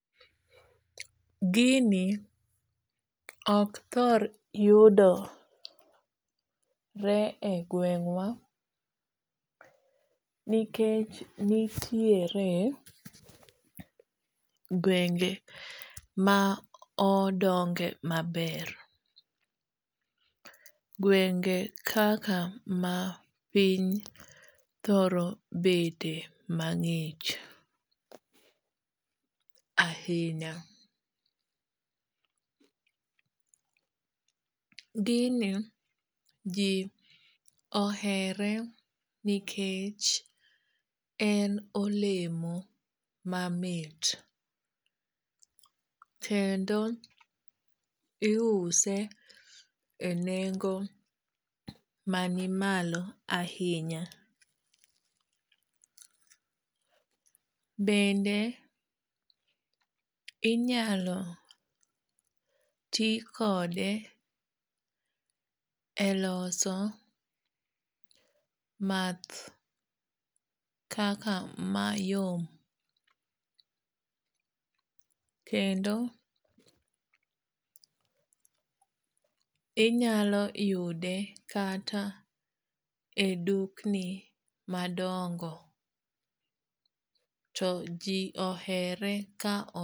Gini ok thor yudore e gweng'wa nikech nitiere gwenge ma odonge maber. Gwenge kaka mapiny thoro bede mang'ich ahinya. Gini ji ohere nikech en olemo mamit. Kendo iuse e nengo mani malo ahinya. Bende inyalo ti kode e loso math kaka mayom. Kendo inyalo yude kata e dukni madongo. To ji ohere ka.